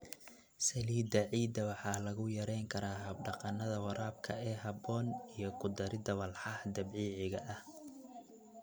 Saliidda ciidda waxaa lagu yarayn karaa hab-dhaqannada waraabka ee habboon iyo ku darida walxaha dabiiciga ah.